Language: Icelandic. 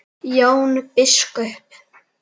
Jón biskup!